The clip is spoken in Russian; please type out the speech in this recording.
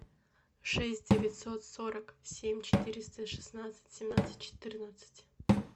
шесть девятьсот сорок семь четыреста шестнадцать семнадцать четырнадцать